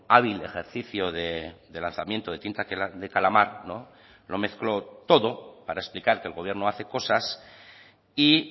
hábil ejercicio de lanzamiento de tinta de calamar lo mezcló todo para explicar que el gobierno hace cosas y